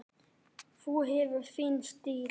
Þú hefur þinn stíl.